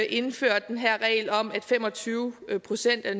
indført den her regel om at fem og tyve procent af